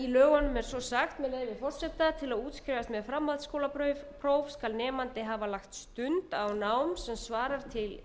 lögunum er svo sagt með leyfi forseta til að útskrifast með framhaldsskólapróf skal nemandi hafa lagt stund á nám sem svarar til